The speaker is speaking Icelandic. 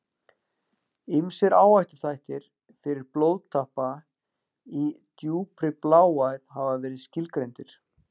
Ýmsir áhættuþættir fyrir blóðtappa í djúpri bláæð hafa verið skilgreindir.